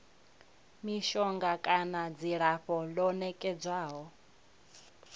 mishonga kana dzilafho ḽo nekedzwaho